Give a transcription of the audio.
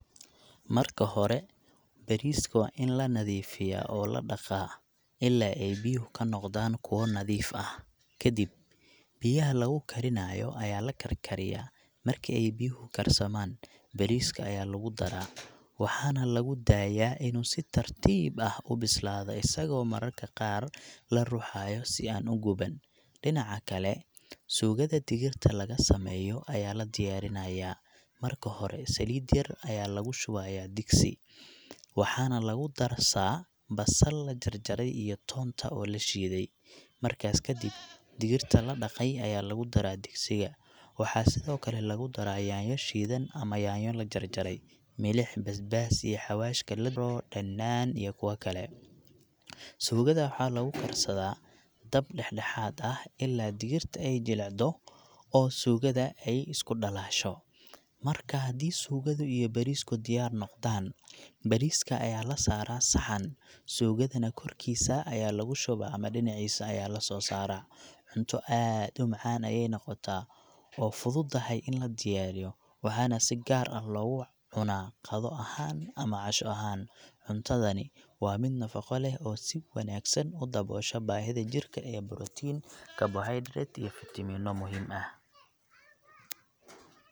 Marka hore bariiska waa in la nadiifiyaa oo la dhaqaa ilaa ay biyuhu ka noqdaan kuwo nadiif ah. Kadib, biyaha lagu karinayo ayaa la karkariyaa, marka ay biyuhu karsamaan, bariiska ayaa lagu daraa, waxaana lagu daayaa inuu si tartiib ah u bislaado isagoo mararka qaar la ruxayo si aanu u guban. Dhinaca kale, suugada digirta lagu sameeyo ayaa la diyaarinayaa. Marka hore, saliid yar ayaa lagu shubayaa digsi, waxaana lagu darsaa basal la jarjaray iyo toonta oo la shiiday. Markaas kadib, digirta la dhaqay ayaa lagu daraa digsiga. Waxaa sidoo kale lagu daraa yaanyo shiidan ama yaanyo la jarjaray, milix, basbaas, iyo xawaashka la dhanaan, iyo kuwa kale. Suugada waxaa lagu karsadaa dab dhexdhexaad ah ilaa digirta ay jilcato oo suugada ay isku dhalaasho. Marka haddii suugada iyo bariisku diyaar noqdaan, bariiska ayaa la saaraa saxan, suugadana korkiisa ayaa lagu shubaa ama dhinaciisa ayaa lasoo saaraa. Cunto aad u macaan ayay noqotaa oo fududahay in la diyaariyo, waxaana si gaar ah loogu cunaa qado ahaan ama casho ahaan. Cuntadani waa mid nafaqo leh oo si wanaagsan u daboosha baahida jirka ee borotiin, karbohaydarayt, iyo fiitamiino muhiim ah.